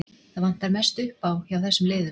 Það vantar mest upp á hjá þessum liðum.